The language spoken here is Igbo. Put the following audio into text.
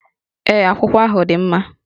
Ee, akwụkwọ ahụ dị mma